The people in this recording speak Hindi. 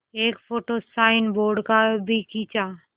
एक फ़ोटो साइनबोर्ड का भी खींचा